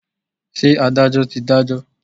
Ṣé Adájọ́ ti Adájọ́?